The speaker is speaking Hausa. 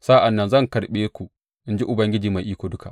Sa’an nan zan karɓe ku, in ji Ubangiji Mai Iko Duka.